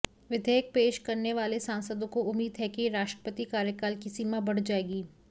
विधेयक पेश करने वाले सांसदों को उम्मीद है कि राष्ट्रपति कार्यकाल की सीमा बढ़ जाएगी